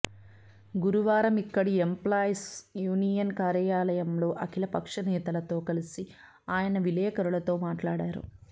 గురువారమిక్కడి employees union కార్యాలయంలో అఖిలపక్ష నేతలతో కలిసి ఆయన విలేకరులతో మాట్లాడారు